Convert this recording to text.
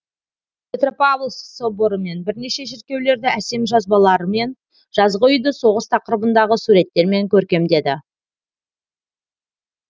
петропавловск соборы мен бірнеше шіркеулерді әсем жазбалар мен жазғы үйді соғыс тақырыбындағы суреттермен көркемдеді